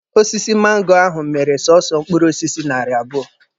Osisi mango ahụ mịrị sọsọ mkpụrụ osisi narị abụọ.